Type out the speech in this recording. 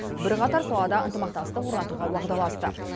бірқатар салада ынтымақтастық орнатуға уағдаласты